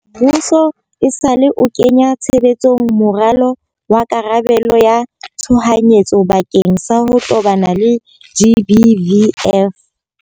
Muso esale o kenya tshebetsong moralo wa karabelo ya tshohanyetso bakeng sa ho tobana le GBVF.